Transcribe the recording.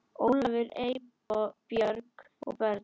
Ólafur, Eybjörg og börn.